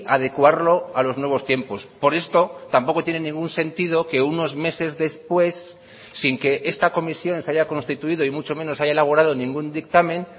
adecuarlo a los nuevos tiempos por esto tampoco tiene ningún sentido que unos meses después sin que esta comisión se haya constituido y mucho menos haya elaborado ningún dictamen